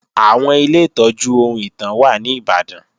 Àwọn Ilé ìtọ́jú ohun ìtàn wà ní Ìbàdàn